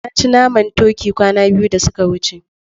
Na ci naman turkey kwana biyu da suka wuce.